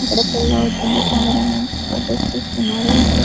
అక్కడ పెళ్లి అవుతుంది కెమెరా మెన్స్ ఫోటోస్ తీస్తున్నాడు అక్కడ --